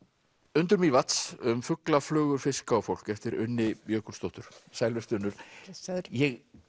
undur Mývatns um fugla flugur fiska og fólk eftir Unni Jökulsdóttur sæl vertu Unnur blessaður ég